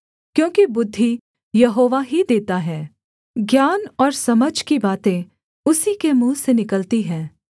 क्योंकि बुद्धि यहोवा ही देता है ज्ञान और समझ की बातें उसी के मुँह से निकलती हैं